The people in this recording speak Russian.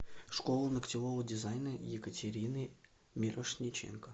школа ногтевого дизайна екатерины мирошниченко